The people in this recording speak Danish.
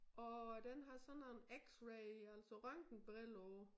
Og den har sådan nogen x-ray altså røntgenbriller på